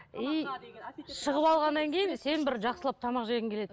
и шығып алғаннан кейін сен бір жақсылап тамақ жегің келеді